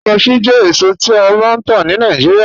Cashew jẹ̀ èsò, tí a máa n tà ní Nàìjíríà